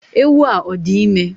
Ewu a o di ime?